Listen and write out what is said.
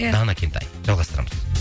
дана кентай жалғастырамыз